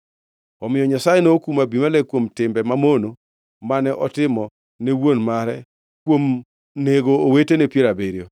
Omiyo Nyasaye nokumo Abimelek kuom timbe mamono mane otimo ne wuon mare kuom nego owetene piero abiriyo.